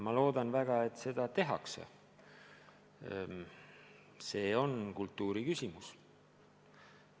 Ma loodan väga, et seda tehakse, see on kultuuriküsimus.